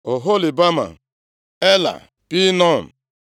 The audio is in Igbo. Oholibama, Elaa, Pinon,